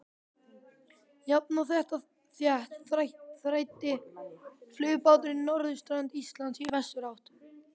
Jafnt og þétt þræddi flugbáturinn norðurströnd Íslands í vesturátt.